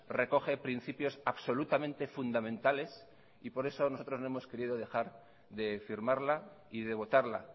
recoge principios absolutamente fundamentales y por eso nosotros no hemos querido dejar de firmarla y de votarla